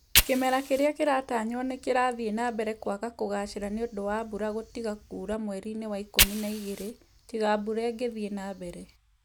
Kĩmera kĩrĩa kĩratanywo nĩ kĩrathiĩ na mbere kwaga kũgaacĩra nĩ ũndũ wa mbura gũtiga kura mweri-inĩ wa ikumi na igĩrĩ, tiga mbura ĩngĩthiĩ na mbere.